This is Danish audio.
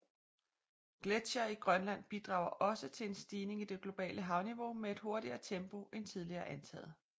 Gletsjere i Grønland bidrager også til en stigning i det globale havniveau med et hurtigere tempo end tidligere antaget